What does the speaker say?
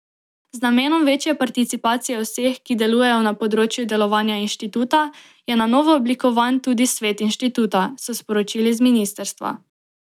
Z namenom večje participacije vseh, ki delujejo na področju delovanja inštituta, je na novo oblikovan tudi svet inštituta, so sporočili z ministrstva.